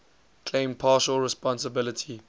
claimed partial responsibility